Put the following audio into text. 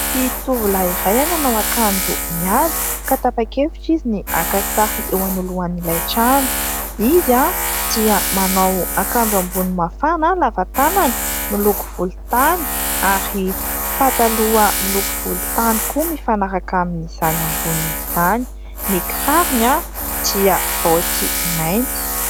Ity tovolahy iray, manao akanjo mihaja ka tapa-kevitra izy ny haka sary eo anoloan'ilay trano. Izy dia manao akanjo ambony mafana lava tànana miloko volontany ary pataloha miloko volontany koa mifanaraka amin'izany ambonin'izany ; ny kirarony dia baoty mainty.